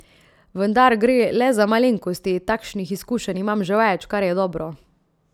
Vendar gre le za malenkosti, takšnih izkušenj imam že več, kar je dobro.